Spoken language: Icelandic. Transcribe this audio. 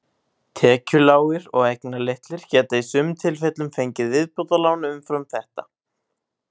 Tekjulágir og eignalitlir geta í sumum tilfellum fengið viðbótarlán umfram þetta.